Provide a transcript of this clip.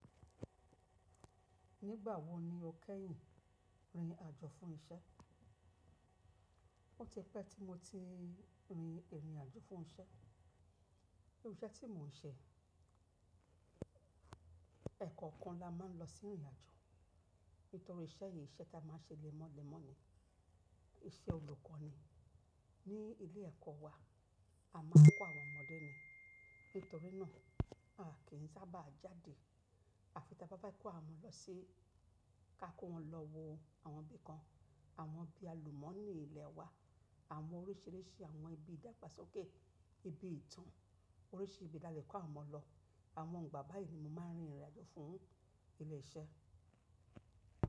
Nígbà wo ni o kẹ́yìn rin ìrìn àjò fún isẹ́? Ó ti pẹ́ tí mo ti rin ìrìn àjò fún isẹ́. Irú iṣẹ́ tí mò ń ṣe, ẹ̀kọ́ kan la máa ń lọ sí ìrìn àjò. Nítorí iṣẹ́ yìí, iṣẹ́ tá a máa ń ṣe lẹ́mọ́lẹ́mọ́ ni, iṣẹ́ olùkọ́ ni. Ní ilé ẹ̀kọ́ wa, a máa ń kọ́ àwọn ọmọ̀dé ni. Nítorí náà, a kì í sábà jáde. À fi tá bá bá kọ́ àwọn lọ sí-- ká kó wọn lọ wo àwọn ibi kan, àwọn ibi àlùmọ́nì ilẹ̀ wa, àwọn oríṣìíríṣìí àwọn ibi ìdàgbàsókè, ibi ìtàn, oríṣìí ibi talẹ̀ kó àwọn ọmọ lọ. Àwọn igbà báyìí ni mo máa ń rin ìrìn àjò fún ilé iṣẹ́.